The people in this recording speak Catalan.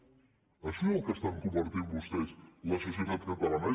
en això és en el que estan convertint vostès la societat catalana